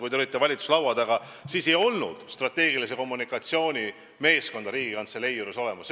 Kui teie olite valitsuse laua taga, siis ei olnud strateegilise kommunikatsiooni meeskonda Riigikantselei juures olemas.